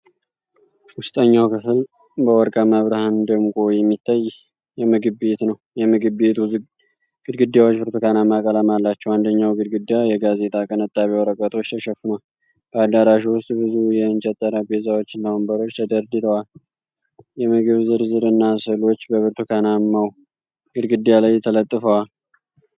ውስጠኛው ክፍል በወርቃማ ብርሃን ደምቆ የሚታይ የምግብ ቤት ነው። የምግብ ቤቱ ግድግዳዎች ብርቱካናማ ቀለም አላቸው፤ አንደኛው ግድግዳ በጋዜጣ ቅንጣቢ ወረቀቶች ተሸፍኗል። በአዳራሹ ውስጥ ብዙ የእንጨት ጠረጴዛዎችና ወንበሮች ተደርድረዋል። የምግብ ዝርዝር እና ስዕሎች በብርቱካናማው ግድግዳ ላይ ተለጥፈዋል።